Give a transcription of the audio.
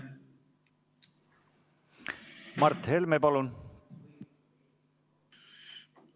Mart Helme, palun!